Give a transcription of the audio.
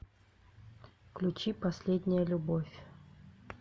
включи последняя любовь